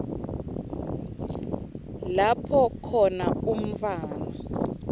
lapho khona umntfwana